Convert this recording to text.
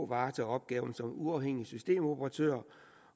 varetager opgaven som uafhængig systemoperatør